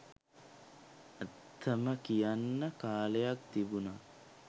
ඇත්තම කියන්න කාලයක් තිබුණා